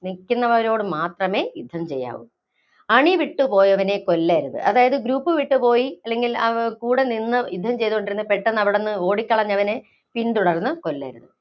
നില്‍ക്കുന്നവരോട് മാത്രമേ യുദ്ധം ചെയ്യാവൂ. അണിവിട്ടു പോയവനെ കൊല്ലരുത്. അതായത് group വിട്ടുപോയി അല്ലെങ്കില്‍ കൂടെ നിന്ന് യുദ്ധം ചെയ്തോണ്ടിരുന്നു പെട്ടെന്നവിടുന്ന് ഓടിക്കളഞ്ഞവനെ പിന്തുടർന്ന് കൊല്ലരുത്.